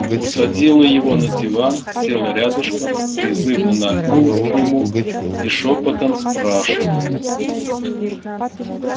усадила его на диван села рядышком призывно нагнулась к нему и шёпотом спрашиваю